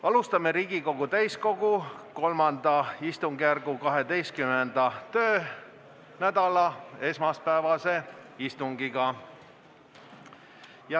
Alustame Riigikogu täiskogu III istungjärgu 12. töönädala esmaspäevast istungit.